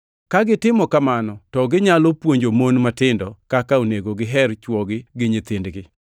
Ka gitimo kamano, to ginyalo puonjo mon matindo kaka onego giher chwogi gi nyithindgi;